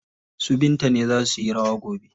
Su Binta ne za suyi rawa gobe.